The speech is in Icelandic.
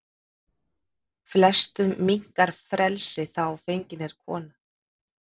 Flestum minnkar frelsi þá fengin er kona.